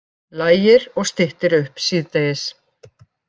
Lægir og styttir upp síðdegis